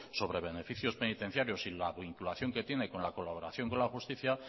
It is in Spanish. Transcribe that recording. sobre beneficios penitenciarios y la vinculación que tiene con la colaboración con la justicia